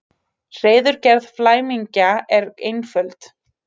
Hreiðurgerð flæmingja er einföld.